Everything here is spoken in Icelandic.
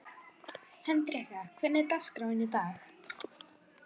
Hendrikka, hvernig er dagskráin í dag?